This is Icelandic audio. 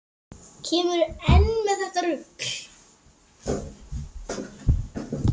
Kemurðu enn með þetta rugl!